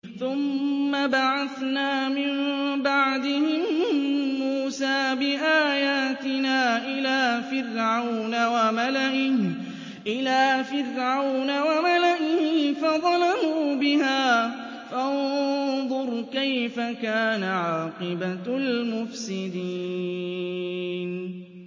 ثُمَّ بَعَثْنَا مِن بَعْدِهِم مُّوسَىٰ بِآيَاتِنَا إِلَىٰ فِرْعَوْنَ وَمَلَئِهِ فَظَلَمُوا بِهَا ۖ فَانظُرْ كَيْفَ كَانَ عَاقِبَةُ الْمُفْسِدِينَ